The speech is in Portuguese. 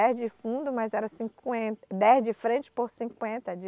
Dez de fundo, mas era cinquenta... dez de frente por cinquenta de